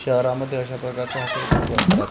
शहरामध्ये अशा प्रकारचे हॉटेल खूप असतात याच्याम--